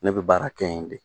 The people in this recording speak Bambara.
Ne bɛ baara kɛ yen de.